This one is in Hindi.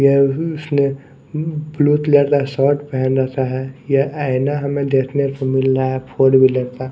यह उसने ब्लू तलर का शर्ट पहन रखा है यह आईना हमें देखने को मिल रहा है फोर व्हीलर का।